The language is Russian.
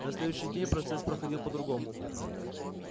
на следующий день процесс проходил по-другому